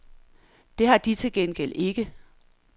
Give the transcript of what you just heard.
Det har de til gengæld ikke.